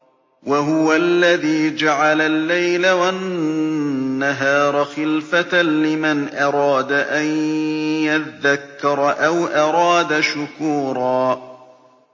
وَهُوَ الَّذِي جَعَلَ اللَّيْلَ وَالنَّهَارَ خِلْفَةً لِّمَنْ أَرَادَ أَن يَذَّكَّرَ أَوْ أَرَادَ شُكُورًا